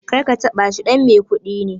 Karka taɓa shi, ɗan mai kuɗi ne